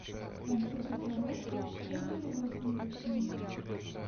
конфеты коровка полкило сливочные